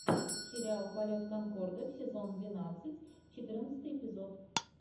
сериал полет конкорда сезон двенадцать четырнадцатый эпизод